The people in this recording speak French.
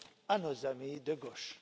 à nos amis de gauche.